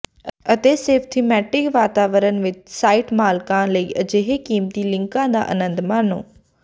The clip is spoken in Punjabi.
ਅਤੇ ਸਿਰਫ ਥੀਮੈਟਿਕ ਵਾਤਾਵਰਨ ਵਿਚ ਸਾਈਟ ਮਾਲਕਾਂ ਲਈ ਅਜਿਹੇ ਕੀਮਤੀ ਲਿੰਕਾਂ ਦਾ ਅਨੰਦ ਮਾਣੋ